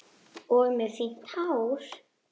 Og með fínt hár.